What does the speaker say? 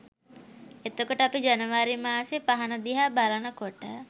එතකොට අපි ජනවාරි මාසෙ පහන දිහා බලන කොට